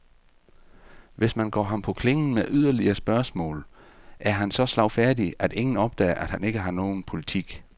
Hvis man går ham på klingen med yderligere spørgsmål, er han så slagfærdig, at ingen opdager, at han ikke har nogen politik.